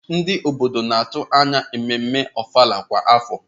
Ndị obodo na-atụ anya ememme ofala kwa afọ.